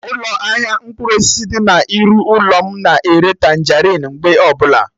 Ụlọ ahịa mkpụrụ osisi dị na iru ụlọ mụ na-ere Tanjerịn mgbe ọbụla